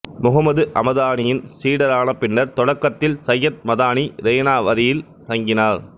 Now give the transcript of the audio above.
முகமது அமதானியின் சீடரான பின்னர் தொடக்கத்தில் சையத் மதானி ரெய்னாவரியில் தங்கினார்